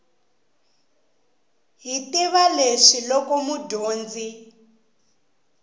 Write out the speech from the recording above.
hi tiva leswi loko mudyondzi